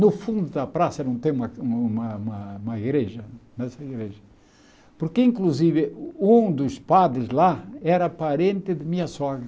No fundo da praça não tem uma uma uma igreja essa igreja, porque inclusive um dos padres lá era parente de minha sogra.